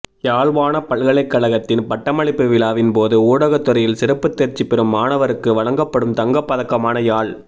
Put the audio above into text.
யாழ்ப்பாணப் பல்கலைக்கழகத்தின் பட்டமளிப்பு விழாவின் போது ஊடகத்துறையில் சிறப்புத் தேர்ச்சி பெறும் மாணவருக்கு வழங்கப்படும் தங்கப் பதக்கமான யாழ்